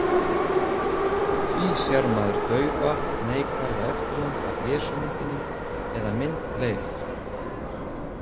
Því sér maður daufa neikvæða eftirmynd af Jesúmyndinni, eða myndleif.